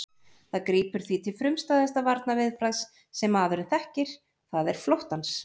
Það grípur því til frumstæðasta varnarviðbragðs sem maðurinn þekkir, það er flóttans.